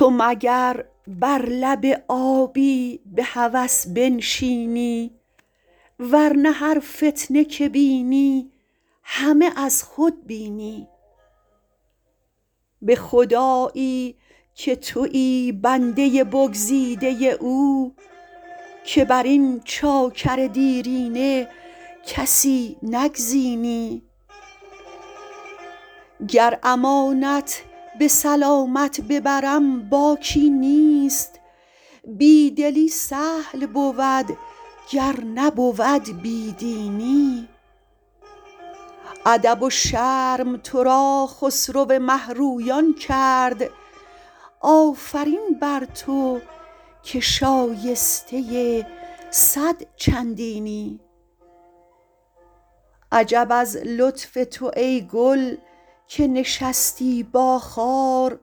تو مگر بر لب آبی به هوس بنشینی ور نه هر فتنه که بینی همه از خود بینی به خدایی که تویی بنده بگزیده او که بر این چاکر دیرینه کسی نگزینی گر امانت به سلامت ببرم باکی نیست بی دلی سهل بود گر نبود بی دینی ادب و شرم تو را خسرو مه رویان کرد آفرین بر تو که شایسته صد چندینی عجب از لطف تو ای گل که نشستی با خار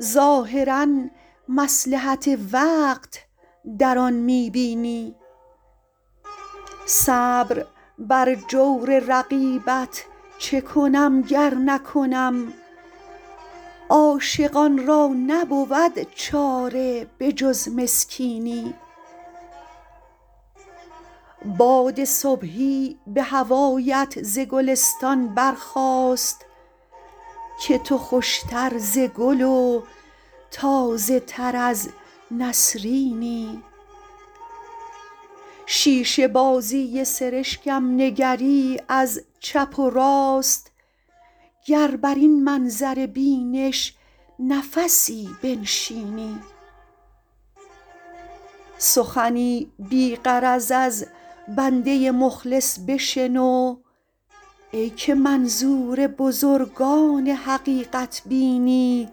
ظاهرا مصلحت وقت در آن می بینی صبر بر جور رقیبت چه کنم گر نکنم عاشقان را نبود چاره به جز مسکینی باد صبحی به هوایت ز گلستان برخاست که تو خوش تر ز گل و تازه تر از نسرینی شیشه بازی سرشکم نگری از چپ و راست گر بر این منظر بینش نفسی بنشینی سخنی بی غرض از بنده مخلص بشنو ای که منظور بزرگان حقیقت بینی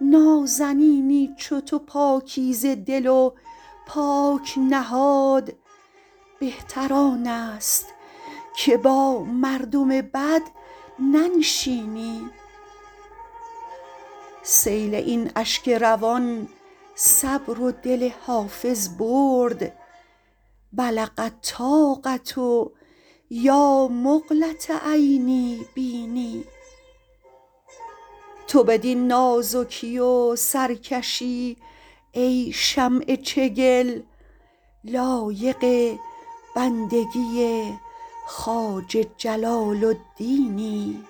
نازنینی چو تو پاکیزه دل و پاک نهاد بهتر آن است که با مردم بد ننشینی سیل این اشک روان صبر و دل حافظ برد بلغ الطاقة یا مقلة عینی بیني تو بدین نازکی و سرکشی ای شمع چگل لایق بندگی خواجه جلال الدینی